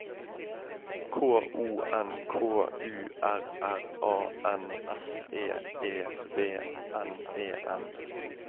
K O N K U R R A N S E E V N E N